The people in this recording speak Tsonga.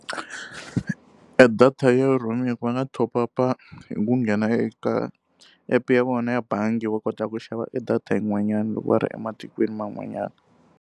E data ya roaming va nga top up-a hi ku nghena eka app-e ya vona ya bangi va kota ku xava e data yin'wanyani loko va ri ematikweni man'wanyana.